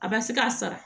A ba se k'a sara